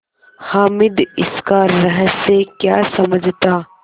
हामिद इसका रहस्य क्या समझता